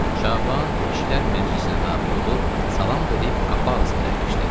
Şaban kişilər məclisinə daxil olub salam verib qapı ağzında əyləşdi.